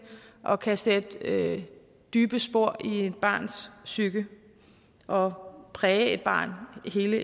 og kan sætte dybe spor i et barns psyke og præge et barn hele